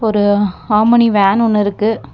ஒரு omni van ஒன்னு இருக்கு.